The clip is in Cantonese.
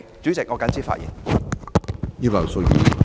主席，我謹此發言。